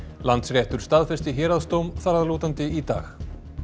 Landsréttur staðfesti héraðsdóm þar að lútandi í dag